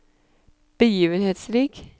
begivenhetsrik